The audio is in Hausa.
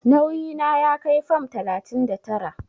Nauyi na ya kai fam talatin da tara.